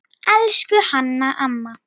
Elsku Hanna amma.